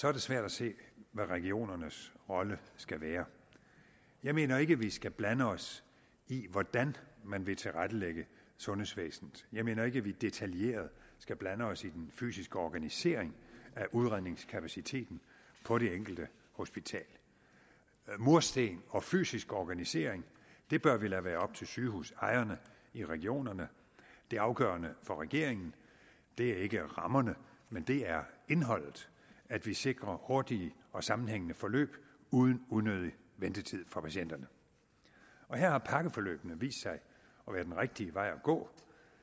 er det svært at se hvad regionernes rolle skal være jeg mener ikke at vi skal blande os i hvordan man vil tilrettelægge sundhedsvæsenet jeg mener ikke at vi detaljeret skal blande os i den fysiske organisering af udredningskapaciteten på det enkelte hospital mursten og fysisk organisering bør vi lade være op til sygehusejerne i regionerne det afgørende for regeringen er ikke rammerne men det er indholdet at vi sikrer hurtige og sammenhængende forløb uden unødig ventetid for patienterne her har pakkeforløbene vist sig at være en rigtig vej at gå